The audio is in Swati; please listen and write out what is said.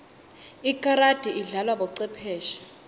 ikarati idlalwa bocwepheshe